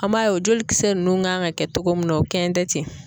An b'a ye o joli kisɛ nunnu kan ŋa kɛ togo min na o kɛn tɛ ten.